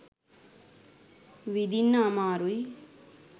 විදින්න අමාරුයි.